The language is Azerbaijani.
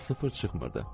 Sıfır çıxmırdı.